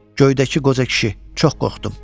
Göydəki qoca kişi, çox qorxdum.